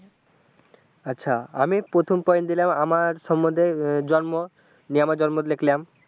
আচ্ছা আমি প্রথম point দিলাম আমার সম্বন্ধে জন্ম দিয়ে আমার জন্ম সব লিখলাম।